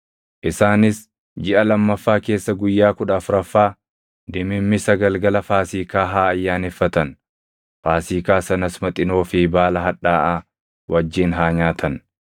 Isaanis jiʼa lammaffaa keessa guyyaa kudha afuraffaa dimimmisa galgala Faasiikaa haa ayyaaneffatan. Faasiikaa sanas Maxinoo fi baala hadhaaʼaa wajjin haa nyaatan.